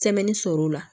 sɔrɔ o la